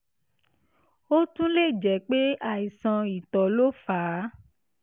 ó tún lè jẹ́ pé àìsàn ìtọ̀ ló fà á